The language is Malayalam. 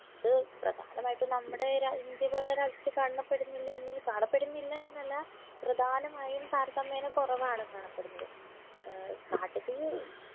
അത് പ്രധാനമായിട്ടും നമ്മുടെ ര ഇന്ത്യ പോലുള്ള രാജ്യത്ത് കാണപ്പെടുന്നില്ല എന്നിൽ കാണപ്പെടുന്നില്ല എന്നല്ല പ്രധാനമായും താരതമ്മ്യേന കൊറവാണ് കാണപ്പെടുന്നത് ഏർ കാട്ടുതീ